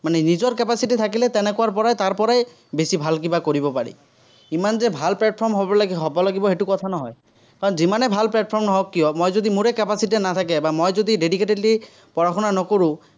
মানে নিজৰ capacity থাকিলে তেনেকুৱাৰপৰা তাৰপৰাই বেছি ভাল কিবা কৰিব পাৰি। ইমান যে ভাল platform হ'ব লাগিব, হ'ব লাগিব সেটো কথা নহয়। কাৰণ যিমানে ভাল platform নহওক কিয়, মই যদি মোৰে capacity নাথাকে, বা মই যদি dedicatedly পঢ়া-শুনা নকৰো।